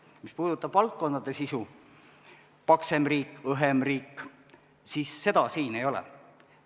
Mis puudutab valdkondade sisu, paksemat riiki, õhemat riiki, siis seda siin ei ole.